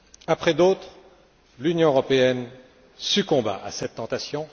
Après d'autres, l'Union européenne succomba à cette tentation.